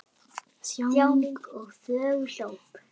Þjáning og þögult óp!